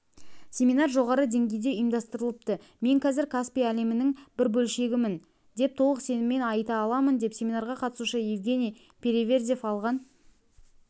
семинар жоғары деңгейде ұйымдастырылыпты мен қазір каспий әлемінің бір бөлшегімін деп толық сеніммен айта аламын деп семинарға қатысушы евгений переверзев алған